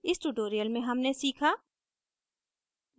इस tutorial में हमने सीखा